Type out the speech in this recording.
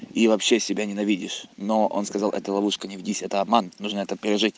и вообще себя ненавидишь но он сказал это ловушка не ведись это обман нужно это пережить